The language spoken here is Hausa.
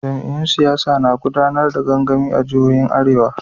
Jam'iyyun siyasa na gudanar da gangami a jihohin arewa.